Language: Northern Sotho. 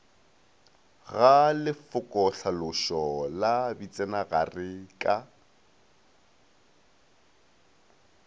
ga lefokotlhalošo la bitsenagare ka